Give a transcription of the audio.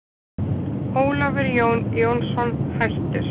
Ólafur Jón Jónsson, hættur